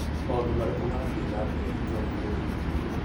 Maũndũ marĩkũ marathiĩ na mbere itũra-inĩ rĩu ?